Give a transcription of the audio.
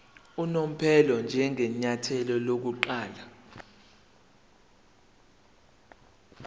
unomphela njengenyathelo lokuqala